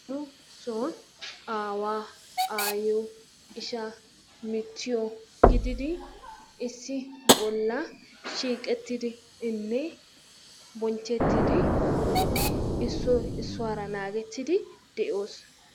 Nu soon awaa ayiyoo ishaa michiyoo gididdi issi bollaa shiqettidi bonchettidi issoy isuwaraa nagettid de'ossi.i